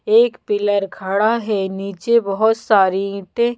एक पिलर खड़ा है नीचे बहुत सारी ईटें--